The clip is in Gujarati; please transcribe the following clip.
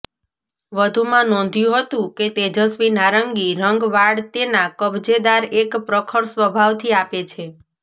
વધુમાં નોંધ્યું હતું કે તેજસ્વી નારંગી રંગ વાળ તેના કબજેદાર એક પ્રખર સ્વભાવથી આપે છે